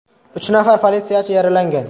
Uch nafar politsiyachi yaralangan.